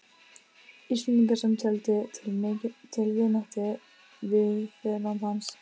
Íslendinga, sem töldu til vináttu við föðurland hans.